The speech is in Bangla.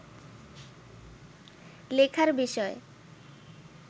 লেখার বিষয়